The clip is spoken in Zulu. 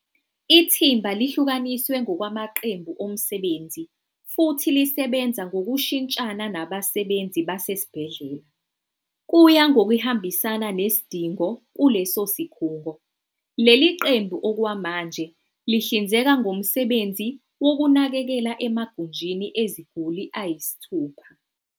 Ithimba lihlukaniswe ngokwamaqembu omsebenzi futhi lisebenza ngokushintshana nabasebenzi basesibhedlela, kuya ngokuhambisana nesidingo kuleso sikhungo. Leli qembu okwamanje lihlinzeka ngomsebenzi wokunakekela emagunjini eziguli ayisithupha.